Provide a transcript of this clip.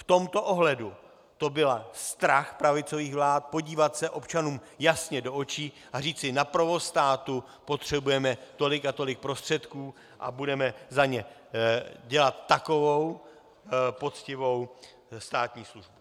V tomto ohledu to byl strach pravicových vlád podívat se občanům jasně do očí a říci: na provoz státu potřebujeme tolik a tolik prostředků a budeme za ně dělat takovou poctivou státní službu.